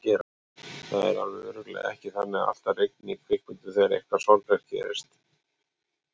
Það er alveg örugglega ekki þannig að alltaf rigni í kvikmyndum þegar eitthvað sorglegt gerist.